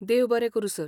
देव बरें करूं, सर.